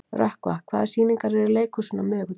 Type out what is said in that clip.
Rökkva, hvaða sýningar eru í leikhúsinu á miðvikudaginn?